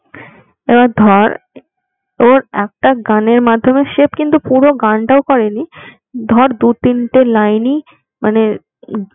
এবার ধর ওর একটা গানের মাধ্যমে সে কিন্তু পুরো গানটা করেনি ধর দু তিনটে লাইন মানে